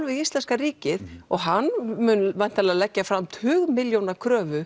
við íslenska ríkið og hann munn væntanlega leggja fram tugmilljóna